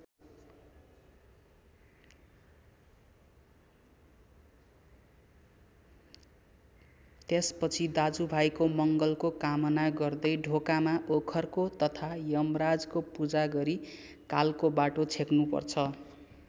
त्यसपछि दाजुभाइको मङ्गलको कामना गर्दै ढोकामा ओखरको तथा यमराजको पूजा गरी कालको बाटो छेक्नुपर्छ।